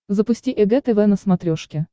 запусти эг тв на смотрешке